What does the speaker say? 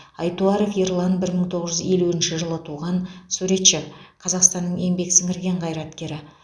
айтуаров ерлан бір мың тоғыз жүз елуінші жылы туған суретші қазақстанның еңбек сіңірген қайраткері